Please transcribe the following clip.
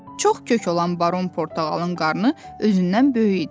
Çox kök olan Baron Portağalın qarnı özündən böyük idi.